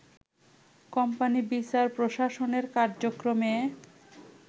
company বিচার প্রশাসনের কার্যক্রমে